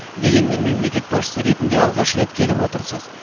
дегенмен мемлекет басшысы ретінде алғаш рет келіп отырсыз